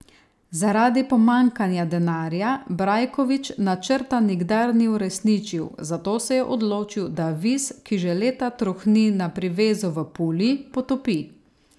Zaradi pomanjkanja denarja Brajković načrta nikdar ni uresničil, zato se je odločil, da Vis, ki že leta trohni na privezu v Puli, potopi.